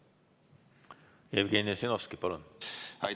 Jevgeni Ossinovski, palun!